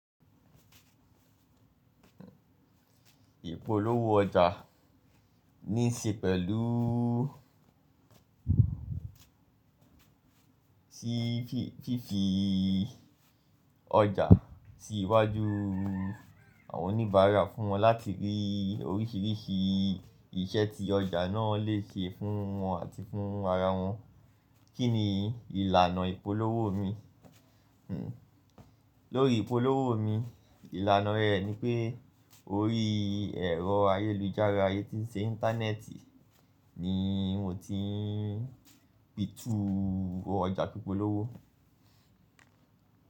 Ipolowo ọjà ní ṣe pẹ̀lú fífi ọjà sí iwájú àwọn oníbàárà fún wọn láti rí oríṣìríṣì iṣẹ́ tí ọjà náà lè ṣe fún wọn àti fún ara wọn. Kí ni ìlànà ìpolówó mi? Lórí ìpolówó mi, ìlànà rẹ̀ ni pé orí ẹ̀rọ ayélujára, eyi tí ń ṣe íńtánẹ́ẹ̀tì ni mo ti ń pitu ọjà pípólówó.